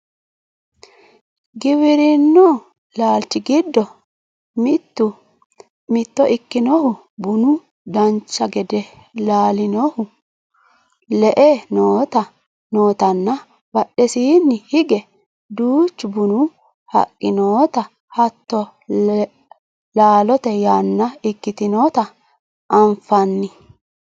giwirinnu laalchi giddo mitto ikkinohu bunu dancha gede laalinohu le"e nootanna badhesiinni hige duuchu bunu haqqi noota hattono laalote yanna ikkitinota anfanni